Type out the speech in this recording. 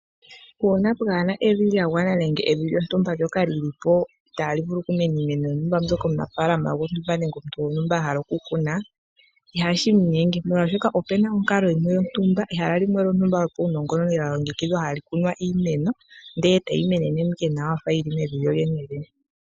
Uuna pwaana evi lyagwana nenge evi lyontumba ndyoka lyi li po itaa li vulu oku mena iimeno yontumba mbyoka omunafaalana gontumba nenge omuntu gontumba ahala oku kuna, ihashi mu nyenge molwashoka opena omukalo gontumba, ehala limwe lyontumba lyopawunongononi lya longekidhwa ha li kunwa iimeno ndele ta yi menene mo ike nawa ya fa yi li mevi lyo lyene lyene.